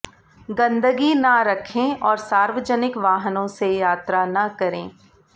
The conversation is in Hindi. गंदगी ना रखें और सार्वजनिक वाहनों से यात्रा ना करें